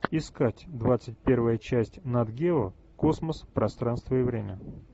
искать двадцать первая часть нат гео космос пространство и время